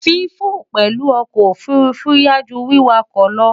Fífò pèlú okò òfurufú yááju wíwakò lo